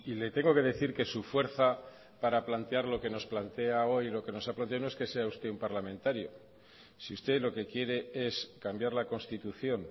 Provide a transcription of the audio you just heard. le tengo que decir que su fuerza para plantear lo que nos plantea hoy no es que sea usted un parlamentario si usted lo que quiere es cambiar la constitución